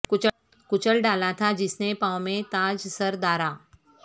کچل ڈالا تھا جس نے پاوں میں تاج سر دارا